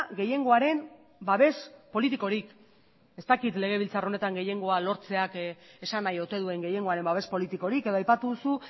gehiengoaren babes politikorik ez dakit legebiltzar honetan gehiengoa lortzeak esan nahi ote duen gehiengoaren babes politikorik edo aipatu duzu